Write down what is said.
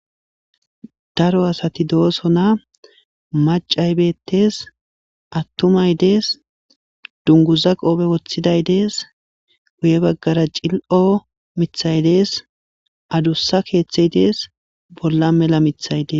daro asati doosona macay bettes attumay dees dunguza qoope woththiday dees guye baggara cil7o mithay dees adussa keeththey dees bolla mela mithaydes